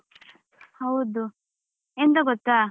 ಹೌದು, ಎಂತ ಗೊತ್ತಾ?